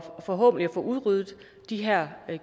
forhåbentlig få udryddet de her